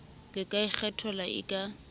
le ka kgethwang e ka